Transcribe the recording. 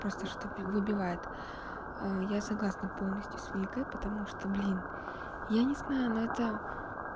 просто чтобы выбивает я согласна полностью с викой и потому что блин я не знаю но это